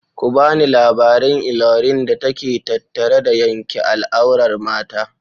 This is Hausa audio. Ku bani labarin illolin da ke tattare da yanke al'aurar mata.